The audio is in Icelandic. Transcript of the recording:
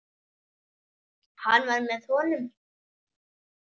Hann var með honum!